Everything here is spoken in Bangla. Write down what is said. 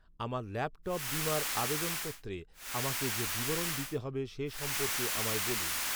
আমার ল্যাপটপ বীমার আবেদনপত্রে আমাকে যে বিবরণ দিতে হবে সে সম্পর্কে আমায় বলুন।